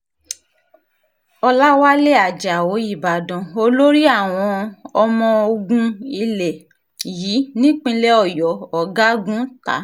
ọ̀làwálẹ̀ ajáò ìbàdàn olórí àwọn ọmọọ̀gùn ilé yìí nípìnlẹ̀ ọ̀yọ́ ọ̀gágun ta